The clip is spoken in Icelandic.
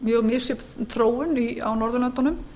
mjög misjöfn þróun á norðurlöndunum